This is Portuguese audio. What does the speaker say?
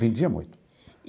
Vendia muito.